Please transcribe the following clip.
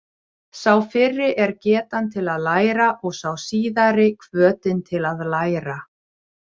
Sá fyrri er getan til að læra og sá síðari hvötin til að læra.